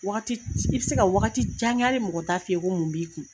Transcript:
Wagati i be se ka wagati jan kɛ ali mɔgɔ t'a fɔ ko mun b'i kun